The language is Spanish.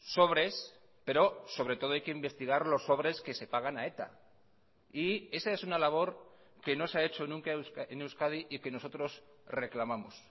sobres pero sobre todo hay que investigar los sobres que se pagan a eta y esa es una labor que no se ha hecho nunca en euskadi y que nosotros reclamamos